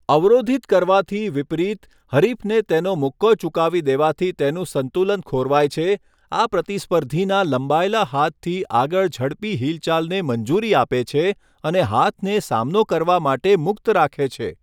અવરોધિત કરવાથી વિપરીત, હરીફને તેનો મુક્કો ચૂકાવી દેવાથી તેનું સંતુલન ખોરવાય છે, આ પ્રતિસ્પર્ધીના લંબાયેલા હાથથી આગળ ઝડપી હિલચાલને મંજૂરી આપે છે અને હાથને સામનો કરવા માટે મુક્ત રાખે છે.